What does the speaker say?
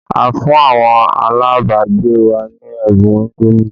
A fún àwọn alabagbe wa ní ẹ̀bùn indomi